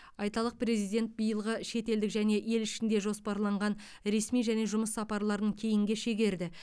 айталық президент биылғы шетелдік және ел ішінде жоспарланған ресми және жұмыс сапарларын кейінге шегерді